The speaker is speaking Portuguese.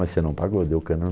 Mas você não pagou, deu cano